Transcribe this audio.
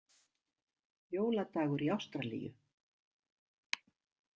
Jóladagur í Ástralíu!